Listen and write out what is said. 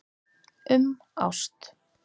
Um ást.